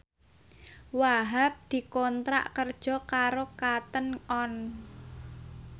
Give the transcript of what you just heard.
Wahhab dikontrak kerja karo Cotton On